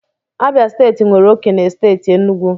Abia steeti nwere oke na steeti Enugu